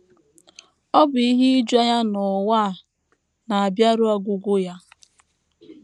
Ọ̀ bụ ihe ijuanya na ụwa a na - abịaru ọgwụgwụ ya?